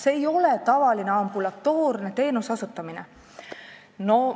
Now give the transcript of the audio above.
See ei ole tavaline ambulatoorne teenuse osutamine.